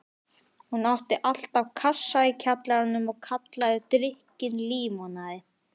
Hún átti alltaf kassa í kjallaranum og kallaði drykkinn límonaði.